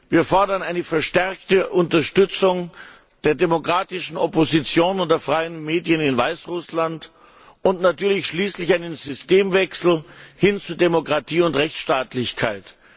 Wir fordern eine verstärkte Unterstützung der demokratischen Opposition und der freien Medien in Weißrussland und natürlich einen Systemwechsel hin zu Demokratie und Rechtsstaatlichkeit.